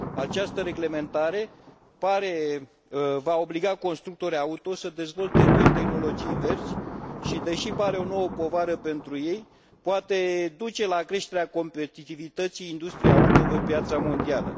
Această reglementare va obliga constructorii auto să dezvolte noi tehnologii verzi și, deși pare o nouă povară pentru ei, poate duce la creșterea competitivității industriei auto pe piața mondială.